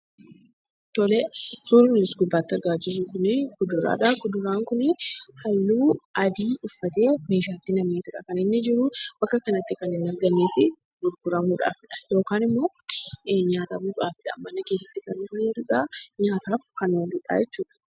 Suurri as gubbaatti argaa jirru Kun, kuduraadha. Kuduraan Kun halluu adii uffattee meeshaatti nam'eetu kan inni jiruu, bakka kanatti kan argamuu fi gurguramuudhaafidha yookaan immoo nyaatamuudhaafidha mana keessatti kan inni oolu nyaataaf kan ooludha jechuudha.